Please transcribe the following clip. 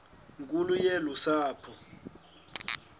nkulu yolu sapho